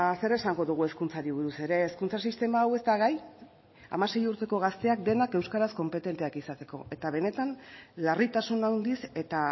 zer esango dugu hezkuntzari buruz ere hezkuntza sistema hau ez da gai hamasei urteko gazteak denak euskaraz konpetenteak izateko eta benetan larritasun handiz eta